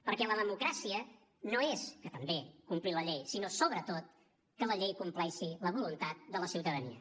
perquè la democràcia no és que també complir la llei sinó sobretot que la llei compleixi la voluntat de la ciutadania